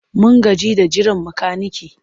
Mun gaji da jiran makanike.